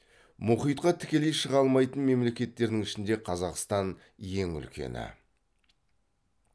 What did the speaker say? мұхитқа тікелей шыға алмайтын мемлекеттердің ішінде қазақстан ең үлкені